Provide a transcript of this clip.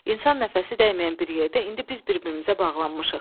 İnsan nəfəsi dəyməyən bir yerdə indi biz bir-birimizə bağlanmışıq.